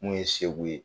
Mun ye segu ye